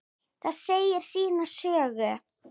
Það segir sína sögu.